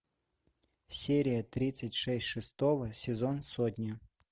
серия тридцать шесть шестого сезон сотня